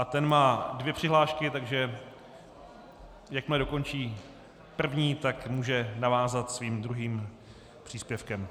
A ten má dvě přihlášky, takže jakmile dokončí první, tak může navázat svým druhým příspěvkem.